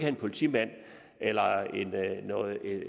en politimand eller